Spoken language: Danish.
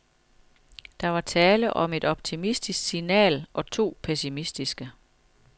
Der var tale om et optimistisk signal og to pessimistiske.